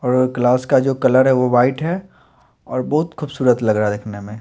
और क्लास का जो कलर है वो वाइट है और बहोत खूबसूरत लग रहा है देखने में।